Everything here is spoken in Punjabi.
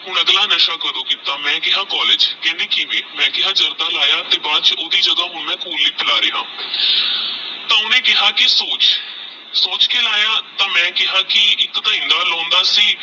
ਹੁਣ ਅਗਲਾ ਨਸ਼ਾ ਕਦੋ ਕੀਤਾ ਮੈ ਕੇਹਾ college ਕੇਹ੍ਨ੍ਦੀ ਕਿਵੇ ਮੈ ਕੇਹਾ ਜਰਦਾ ਲਾਯਾ ਤੇਹ ਬਾਦ ਚ ਓਹਦੀ ਤਹ ਓਹਨੇ ਕੇਹਾ ਕੀ ਸੋਚ ਸੋਚ ਕੇ ਲਾਯਾ ਤੇਹ ਮੈ ਕੇਹਾ ਕੀ ਏਕ ਤਹ ਇਹਨਾ ਲਾਉਂਦਾ ਸੀ